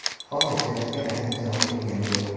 Hozircha bizga rasmiy javob kelgani yo‘q.